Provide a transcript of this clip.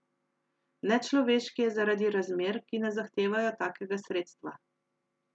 Nečloveški je zaradi razmer, ki ne zahtevajo takega sredstva.